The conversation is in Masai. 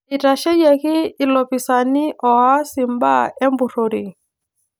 Itasheyieki ilopisaana oas imbaa empurrore